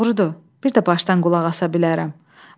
Doğrudur, bir də başdan qulaq asa bilərəm.